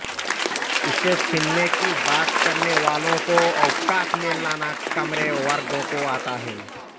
इसे छिनने की बात करने वालों को औकात में लाना कमेरे वर्गों को आता है